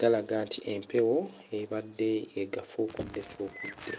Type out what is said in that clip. galaga nti empewo ebadde agafuukuddefuukudde.